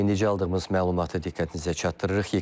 Eləyini necə aldığımız məlumatı diqqətinizə çatdırırıq.